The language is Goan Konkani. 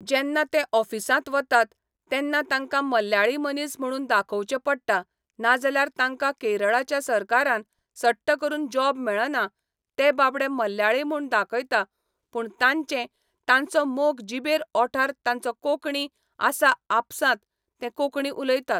जेन्ना ते ऑफिसांत वतात, तेन्ना तांकां मल्याळी मनीस म्हणून दाखोवचें पडटा नाजाल्यार तांकां केरळाच्या सरकारान सट्ट करून जॉब मेळना ते बाबडे मल्याळी म्हूण दाखयता पूण तांचें तांचो मोग जिबेर ओंठार तांचो कोंकणी आसा आपसांत ते कोंकणी उलयता